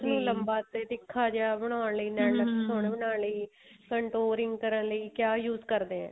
ਉਸ ਨੂੰ ਲੰਬਾ ਤੇ ਤਿੱਖਾ ਜਿਹਾ ਬਣਾਉਣ ਲਈ ਨੈਨ ਨਕਸ਼ ਸੋਹਣੇ ਬਣਾਉਣ ਲਈ contouring ਕਰਨ ਲਈ ਕਿਆ use ਕਰਦੇ ਏ